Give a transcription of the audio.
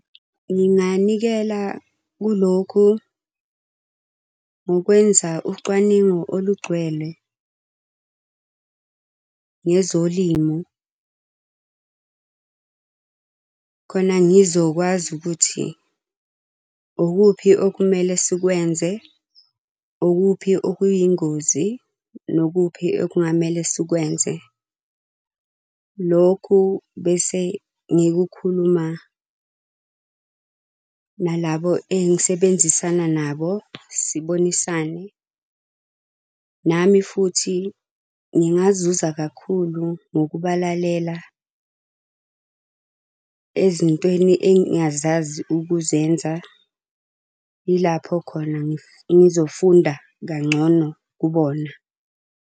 Nginganikela kulokhu ngokwenza ucwaningo olugcwele ngezolimu khona ngizokwazi ukuthi ukuphi okumele sikwenze, ukuphi okuyingozi, nokuphi okungamele sikwenze. Lokhu bese ngikukhuluma nalabo engisebenzisana nabo, sibonisane. Nami futhi ngingazuza kakhulu ngokubalalela ezintweni engingazazi ukuzenza. Yilapho khona engizofunda kangcono kubona.